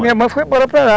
minha mãe foi embora para lá